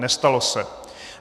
Nestalo se.